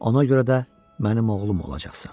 Ona görə də mənim oğlum olacaqsan.